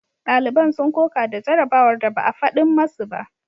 Daliban sun koka da jarabawar da ba a fadin masu ba.